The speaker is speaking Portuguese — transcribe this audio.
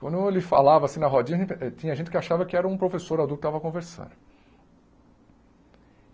Quando ele falava, assim, na rodinha, tinha gente que achava que era um professor adulto que estava a conversar.